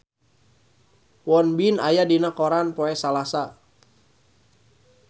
Won Bin aya dina koran poe Salasa